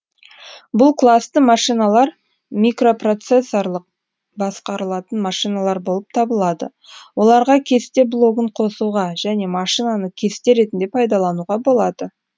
бұл класты машиналар микропроцессорлық басқарылатын машиналар болып табылады оларға кесте блогын қосуға және машинаны кесте ретінде пайдалануға болады